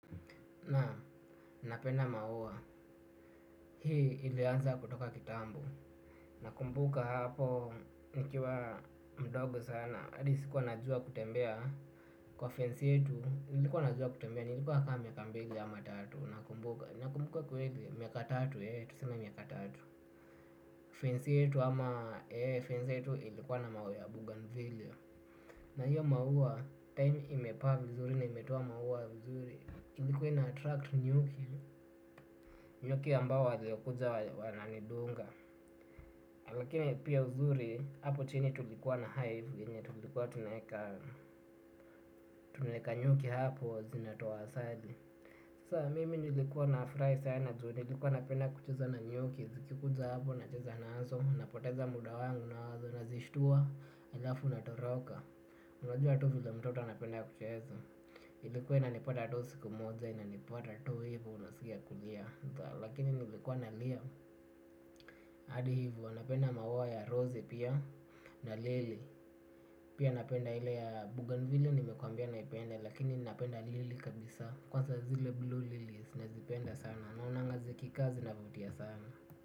Naam napenda maua, hii ilianza kutoka kitambu. Nakumbuka hapo, nikiwa mdogo sana Adi sikuwa najua kutembea. Kwa fence yetu, nilikuwa najua kutembea. Nilikuwa kama miaka mbili ama tatu. Nakumbuka, nakumbuka kweli, miaka tatu ye, tuseme miaka tatu Fence yetu ama, ye, fence yetu ilikuwa na maua ya Bougainville. Na hiyo maua, time imepaa mzuri na imetoa maua mzuri. Ilikuwa inaattract nyuki. Nyuki ambao waliokuja wananidunga. Lakini pia uzuri hapo chini tulikuwa na hive enye tulikuwa tunaeka nyuki hapo zinatoa asali. Sa mimi nilikuwa nafurahi sana juu nilikuwa napenda kucheza na nyuki. Zikikuja hapo nacheza nazo. Napoteza muda wangu nazo. Nazishtua elafu na toroka unajua tu vile mtoto anapenda kucheza. Ilikuwa inanipatatu siku moja. Inanipata tu hivo. Unaskia kulia. Lakini nilikuwa nalia. Hadi hivyo napenda maua ya rose pia na lili. Pia napenda ile ya bougainville nimekwambia naipenda lakini napenda lili kabisa. Kwanza zile blue lili nazipenda sana na naonanga zikikaa zinavutia sana.